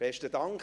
Besten Dank.